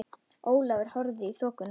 Ólafur horfði í þokuna.